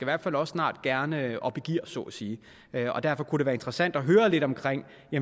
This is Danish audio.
hvert fald også snart gerne op i gear så at sige og derfor kunne det være interessant at høre lidt om